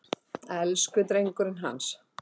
Elsku drengurinn hans!